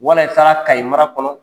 Wala i taara Kayi mara kɔnɔ.